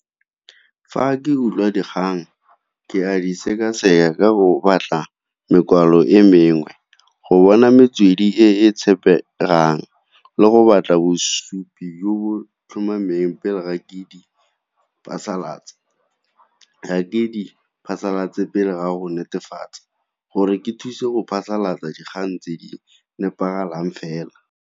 Fa ke utlwa dikgang ke a di seka-seka go batla mokwalo e mengwe, go bona metswedi e e tshepegang le go batla bosupi jo bo tlhomameng pele ga ke di phasalatsa. Ga ke di phasalatse pele ga go netefatsa, gore ke thuse o phasalatsa dikgang tse di nepagalang fela.